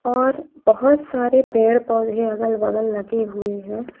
और बहुत सारे पेड़-पौधे अगल-बगल लगे हुए हैं।